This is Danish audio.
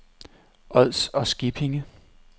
Ods og Skippinge